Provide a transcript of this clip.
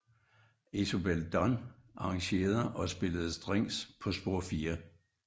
Isobel Dunn arrangerede og spillede Strings på spor 4